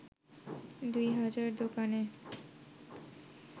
২ হাজার দোকানে